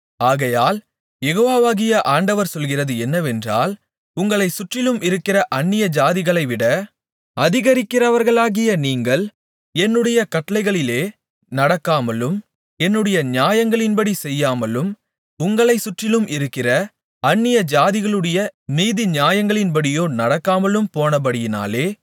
ஆகையால் யெகோவாகிய ஆண்டவர் சொல்லுகிறது என்னவென்றால் உங்களைச் சுற்றிலும் இருக்கிற அந்நியஜாதிகளைவிட அதிகரிக்கிறவர்களாகிய நீங்கள் என்னுடைய கட்டளைகளிலே நடக்காமலும் என்னுடைய நியாயங்களின்படி செய்யாமலும் உங்களைச் சுற்றிலும் இருக்கிற அந்நியஜாதிகளுடைய நீதிநியாயங்களின்படியோ நடக்காமலும் போனபடியினாலே